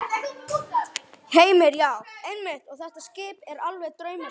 Heimir: Já, einmitt og þetta skip er alveg draumaskip?